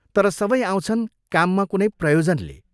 तर सबै आउँछन् काममा कुनै प्रयोजनले।